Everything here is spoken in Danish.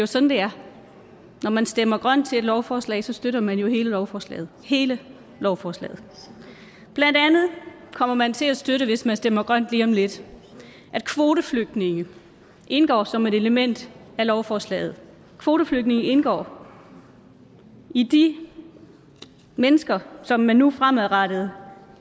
sådan det er når man stemmer grønt til et lovforslag støtter man jo hele lovforslaget hele lovforslaget blandt andet kommer man til at støtte hvis man stemmer grønt lige om lidt at kvoteflygtninge indgår som et element af lovforslaget kvoteflygtninge indgår i de mennesker som man nu fremadrettet